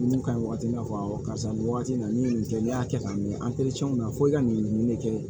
Mun ka ɲi wagati i na fɔ karisa nin wagati in na ni nin kɛ ne y'a kɛ k'a mɛn na fo i ka nin nin de kɛ